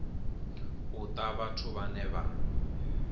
u ta vhathu vhane vha